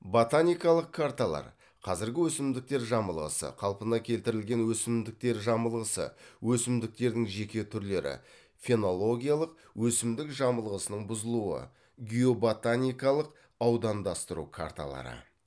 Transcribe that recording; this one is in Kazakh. ботаникалық карталар қазіргі өсімдіктер жамылғысы қалпына келтірілген өсімдіктер жамылғысы өсімдіктердің жеке түрлері фенологиялық өсімдік жамылғысының бұзылуы геоботаникалық аудандастыру карталары